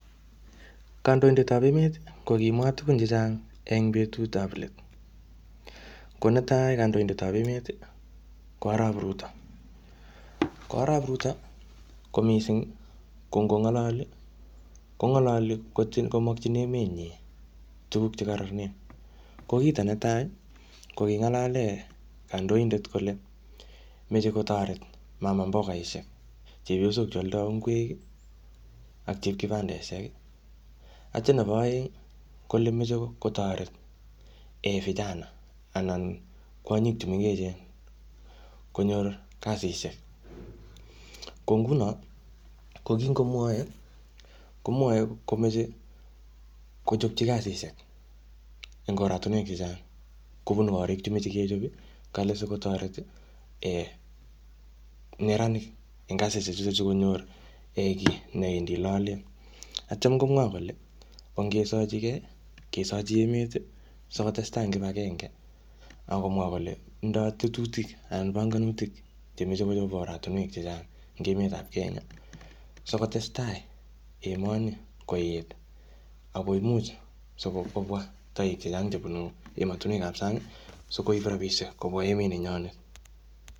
Kandoindetab emet ko kimwa tukun che chang, eng betut ab let. Ko netai kandoindetab emet ko arap Ruto. Ko arap Ruto, ko mising ko ngo ng'olali ko ng'olali komakchin emenyi tukuk che koronen. Ko kito netai ko king'alal kandoindet kole, machei kotoret mamambogaishek chepyosok chealdoi ingwek, ak chep kibandeshek. Atio nebo oeng kole machei kotoret vijana anan kwonyik chemengechen konyor kasisiek. Ko nguno, ko kingomwoei komwoei komachei kochopchi kasisiek eng oratinwek chechang. Kobun korik chemechei kechop kale sikotoret neranik eng kasisiek sikonyor ichek kiy neidei lolet. Atio komwa kole ongesachigei, kesachiemet, sikotestai eng kipagenge akomwa kole tindoi tetutik anan panganutik chemachi kochop oratinwek chechang eng emetab kenya, sikotestai emoni ako omuch kobwa toek chechang chebunu ematinwek ab san'g sikoib rabishek kobwa emet ni nyonet